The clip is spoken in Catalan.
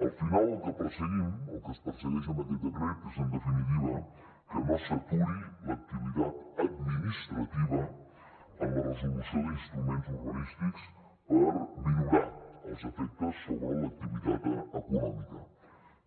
al final el que perseguim el que es persegueix amb aquest decret és en definitiva que no s’aturi l’activitat administrativa en la resolució d’instruments urbanístics per minorar els efectes sobre l’activitat econòmica